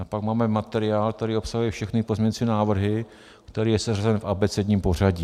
A pak máme materiál, který obsahuje všechny pozměňující návrhy, který je seřazen v abecedním pořadí.